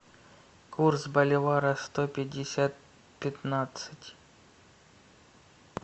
курс боливара сто пятьдесят пятнадцать